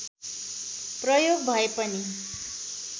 प्रयोग भए पनि